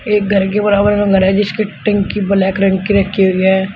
एक घर के बराबर का घर है जिसके टंकी ब्लैक रंग की रखी हुई है।